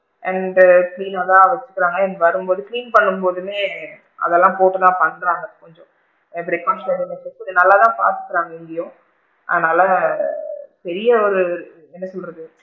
And clean னா தான் வச்சுக்கிறாங்க and வரும் போது clean பண்ணும் போதுமே அதலா போட்டு தான் பண்றாங்க கொஞ்சம் நல்லா தான் பாத்துக்குறாங்க இங்கையும் அதனால பெரிய ஒரு என்ன சொல்றது,